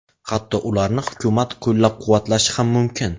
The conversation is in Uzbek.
Hatto ularni hukumat qo‘llab-quvvatlashi ham mumkin.